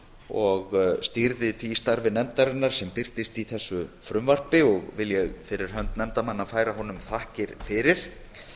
og stýrði því starfi nefndarinnar sem birtist í þessu frumvarpi vil ég fyrir hönd nefndarmanna færa honum þakkir fyrir